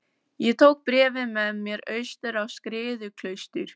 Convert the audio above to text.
Ég tók bréfið með mér austur á Skriðuklaustur.